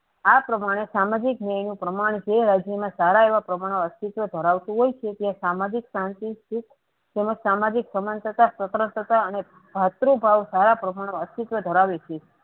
આ પ્રમાણે સામાજિક ન્યાયનું પ્રમાણ જે રાજ્યના સારા એવા પ્રમાણમાં અસ્તિત્વ ધરાવતું હોય છે તે સામાજિક શાંતિ સુખ તેમજ સામાજિક સમાન તથા સ્વતંત્રતા અને ભાતૃ ભાવ સારા પ્રમાણ માં અસ્તિત્વ ધરાવે છે.